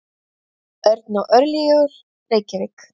Örn og Örlygur, Reykjavík.